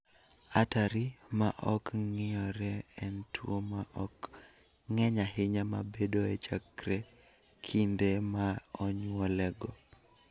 Artery ma ok ng�iyore en tuo ma ok ng�eny ahinya ma bedoe chakre kinde ma onyuolego.